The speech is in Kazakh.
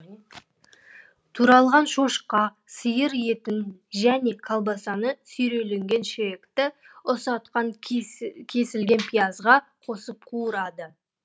туралған шошқа сиыр етін және колбасаны сүйерленген шиекті ұсақтан кесілген пиязға қосып қуырады